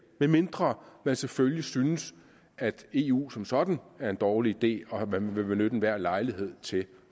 medmindre man selvfølgelig synes at eu som sådan er en dårlig idé og at man vil benytte enhver lejlighed til